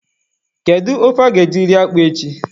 Kedu ofe a ga-eji rie akpụ a echi?